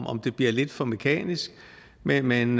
om det bliver lidt for mekanisk men men